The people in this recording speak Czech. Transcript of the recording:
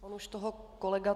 On už toho kolega